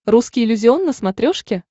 русский иллюзион на смотрешке